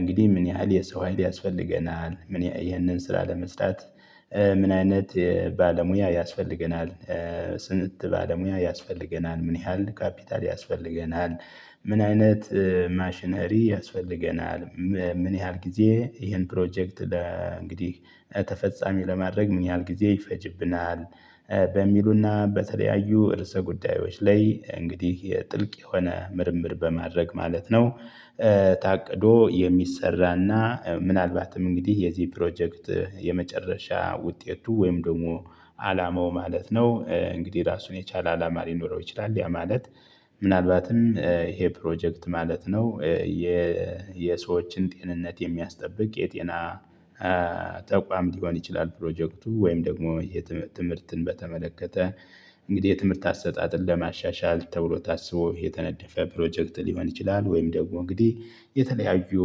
እንግዲህ ምን ያህል የሰው ሀይል ያስፈልገናል? ይህንን ስራ ለመስራት ምን አይነት ባለሙያ ያስፈልገናል? ስንት ባለሙያ ያስፈልገናል ምን ያህል ካፒታል ያስፈልገናል? ምን አይነት ማሽነሪ ያስፈልገናል? ምን ያህል ጊዜ ይህን ፕሮጀክት እንግዲህ ተፈጻሚ ለማድረግ ምን ያህል ጊዜ ይፈጅብናል? በሚሉና በተለያዩ እርሰ ጉዳዮች ላይ እንግዲህ የጥልቅ የሆነ ምርምር በማድረግ ማለት ነው። ታቅዶ የሚሰራና ምናልባትም እንግዲህ የዚህ ፕሮጀክት የመጨረሻ ውጤቱ ወይም ደግሞ አላማው ማለት ነው። እንግዲህ ራሱን የቻለ አላማ ሊኖረው ይችላል ያ ማለት ምናልባትም ይሄ ፕሮጀክት ማለት ነው። የሰዎችን ጤንነት የሚያስጠብቅ የጤና ተቋም ሊሆን ይችላል። ፕሮጀክቱ ወይም ደግሞ ትምህርትን በተመለከተ እንግዲህ የትምህርት አሰጣጥን ለማሻሻል ተብሎ ታስቦ የተነደፈ ፕሮጀክት ሊሆን ይችላል። ወይም ደግሞ እንግዲህ የተለያዩ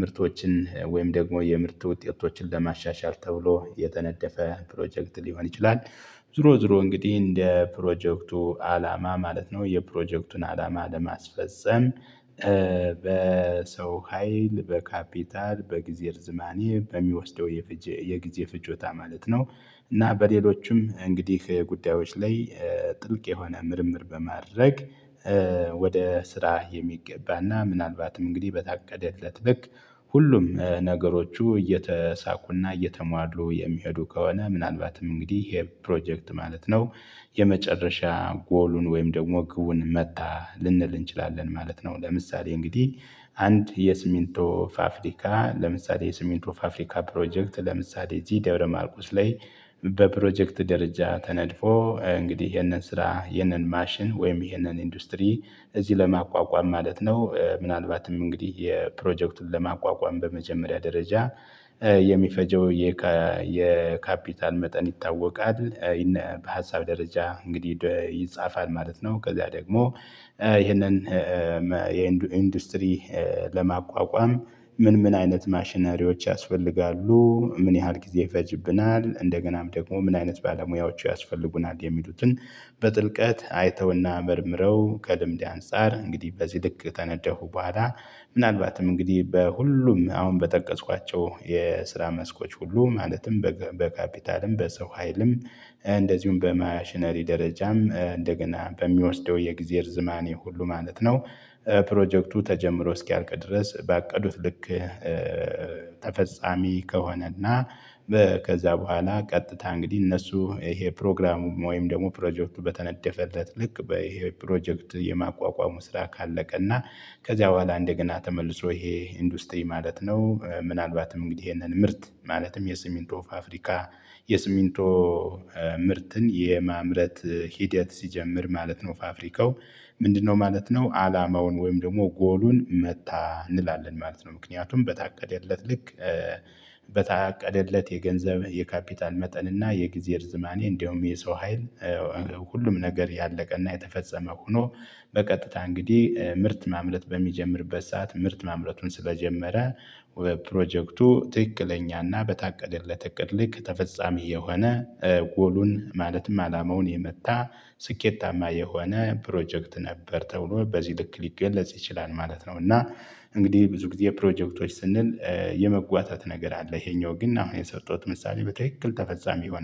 ምርቶችን ወይም ደግሞ የምርት ውጤቶችን ለማሻሻል ተብሎ የተነደፈ ፕሮጀክት ሊሆን ይችላል። ዝሮ ዝሮ እንግዲህ እንደ ፕሮጀክቱ አላማ ማለት ነው የፕሮጀክቱን አላማ ለማስፈፀም በሰው ሀይል በካፒታል በጊዜ ርዝማኔ በሚወስደው የፍጆታ የጊዜ ፍጆታ ማለት ነው። እና በሌሎችም እንግዲህ ከጉዳዮች ላይ ጥልቅ የሆነ ምርምር በማድረግ። ወደ ስራ የሚገባና ምናልባትም እንግዲህ በታቀደለት ልክ ሁሉም ነገሮቹ እየተሳኩና እየተሟሉ የሚሄዱ ከሆነ ምናልባትም እንግዲህ ይሄ ፕሮጀክት ማለት ነው። የመጨረሻ ጎሉን ወይም ደግሞ ግቡን መታ ልንል እንችላለን ማለት ነው። ለምሳሌ እንግዲህ አንድ የሲሚንቶ ፋፍሪካ ለምሳሌ የሲሚንቶ ፋፍሪካ ፕሮጀክት ለምሳሌ ጂዲያውሮ ማርቆስ ላይ በፕሮጀክት ደረጃ ተነድፎ እንግዲህ ይሄንን ስራ ይሄንን ማሽን ወይም ይሄንን ኢንዱስትሪ እዚህ ለማቋቋም ማለት ነው። ምናልባትም እንግዲህ የፕሮጀክቱን ለማቋቋም በመጀመሪያ ደረጃ የሚፈጀው የካፒታል መጠን ይታወቃል እና በሀሳብ ደረጃ እንግዲህ ይጻፋል ማለት ነው። ከዛ ደግሞ ይሄንን የኢንዱስትሪ ለማቋቋም ምን ምን አይነት ማሽነሪዎች ያስፈልጋሉ? ምን ያህል ጊዜ ይፈጅብናል እንደገናም ደግሞ ምን አይነት ባለሙያዎቹ ያስፈልጉናል የሚሉትን? በጥልቀት አይተውና መርምረው ከልምድ አንፃር እንግዲህ በዚህ ልክ ከነደፉ በኋላ ምናልባትም እንግዲህ በሁሉም አሁን በጠቀስኳቸው የስራ መስኮች ሁሉ ማለትም በካፒታልም በሰው ሃይልም እንደዚሁም በማሽነሪ ደረጃም እንደገና በሚወስደው የግዜ ርዝማኔ ሁሉ ማለት ነው። ፕሮጀክቱ ተጀምሮ እስኪያርቅ ድረስ ባቀዱት ልክ ተፈጻሚ ከሆነና ከዛ በኋላ ቀጥታ እንግዲህ እነሱ ይሄ ፕሮግራሙ ወይም ደግሞ ፕሮጀክቱ በተነደፈለት ልክ በይሄ ፕሮጀክት የማቋቋሙ ስራ ካለቀ እና ከዚያ በኋላ እንደገና ተመልሶ ይሄ ኢንዱስትሪ ማለት ነው። ምናልባትም እንግዲህ ይሄንን ምርት ማለትም የሲሚንቶ ፋፍሪካ የሲሚንቶ ምርትን የማምረት ሂደት ሲጀምር ማለት ነው። ፋፍሪካው ምንድነው ማለት ነው? አላማውን ወይም ደግሞ ጎሉን መታ እንላለን ማለት ነው። ምክንያቱም በታቀደለት ልክ በታቀደለት የገንዘብ የካፒታል መጠን እና የጊዜ ርዝማኔ እንደውም የሰው ሀይል ሁሉም ነገር ያለቀና የተፈጸመ ሆኖ በቀጥታ እንግዲህ ምርት ማምረት በሚጀምርበት ሰዓት ምርት ማምረትን ስለጀመረ ወደ ፕሮጀክቱ ትክክለኛና በታቀደለት እቅድ ልክ ተፈጻሚ የሆነ ጎሉን ማለትም አላማውን የመታ ስኬታማ የሆነ ፕሮጀክት ነበር ተብሎ በዚህ ልክ ሊገለጽ ይችላል ማለት ነው። እና እንግዲህ ብዙ ጊዜ ፕሮጀክቶች ስንል የመጓታት ነገር አለ ይሄኛው ግን አሁን የሰጠሁት ምሳሌ በትክክል ተፈጻሚ ይሆናል